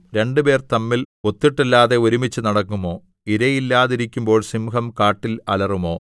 രണ്ടുപേർ തമ്മിൽ ഒത്തിട്ടല്ലാതെ ഒരുമിച്ച് നടക്കുമോ ഇരയില്ലാതിരിക്കുമ്പോൾ സിംഹം കാട്ടിൽ അലറുമോ